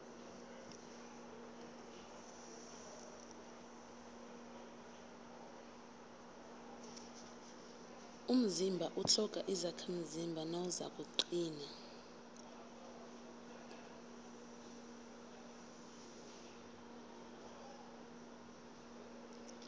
umzimba utlhoga izakhamzimba nawuzakuqina